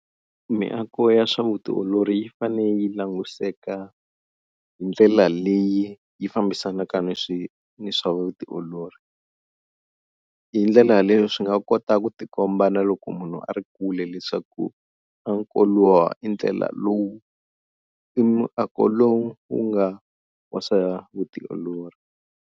Miako ya swa vutiolori yi fane yi langutiseka hi ndlela leyi yi fambisanaka ni swi ni swa vutiolori, hi ndlela leyo swi nga kota ku tikomba na loko munhu a ri kule leswaku i ndlela lowu i miako lowu wu nga wa swa vutiolori.